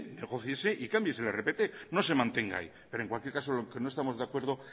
negóciese y cámbiese el rpt no se mantenga ahí pero en cualquier caso lo que no estamos de acuerdo